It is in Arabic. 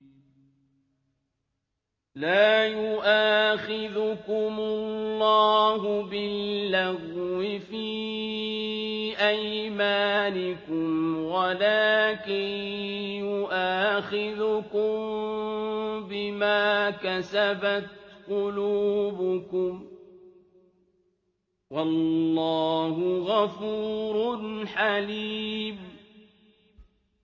لَّا يُؤَاخِذُكُمُ اللَّهُ بِاللَّغْوِ فِي أَيْمَانِكُمْ وَلَٰكِن يُؤَاخِذُكُم بِمَا كَسَبَتْ قُلُوبُكُمْ ۗ وَاللَّهُ غَفُورٌ حَلِيمٌ